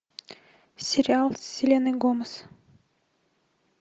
сериал с селеной гомес